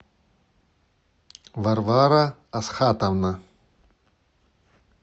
варвара асхатовна